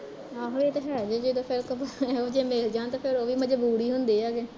ਆਹੋ ਏਹ ਤੇ ਹੈ ਜੇ ਜਦੋਂ ਇਹੋ ਜਹੇ ਮਿਲ ਜਾਣ ਤੇ ਫਿਰ ਉਹ ਵੀ ਮਜਬੂਤ ਈ ਹੁੰਦੇ ਆ ਜੇ